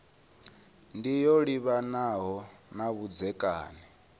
ndi yo livhanaho na vhudzekani